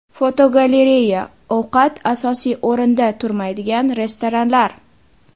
Fotogalereya: Ovqat asosiy o‘rinda turmaydigan restoranlar.